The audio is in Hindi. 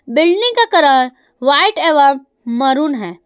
बिल्डिंग का कलर व्हाइट एवं मेहरून है।